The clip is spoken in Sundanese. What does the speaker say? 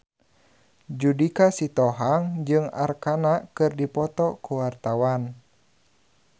Judika Sitohang jeung Arkarna keur dipoto ku wartawan